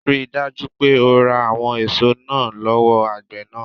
Ríi dájú pé o ra àwọn èso náà lówó àgbè náà